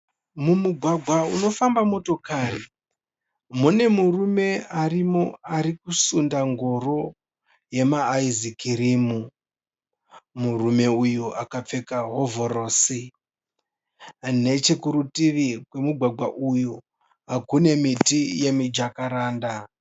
Mumugwagwa unofamba motokari mune murume arimo ari kusunda ngoro yema ayizikirimu. Murume uyu akapfeka hovhorosi. Nechekurutivi kwemugwagwa uyu kune miti yemijakaranda.